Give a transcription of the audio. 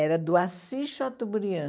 Era do Assis Chateaubriand.